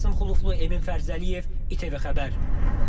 Qasım Xuluflu, Emin Fərzəliyev, İTV Xəbər.